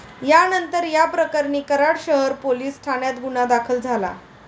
त्यानंतर याप्रकरणी कराड शहर पोलीस ठाण्यात गुन्हा दाखल झाला.